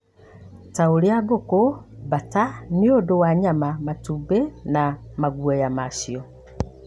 ta ũrĩa ngũkũ, mbata, nĩ ũndũ wa nyama matũmbĩ na maguoya macio.